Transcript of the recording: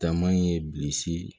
Taama in ye bilisi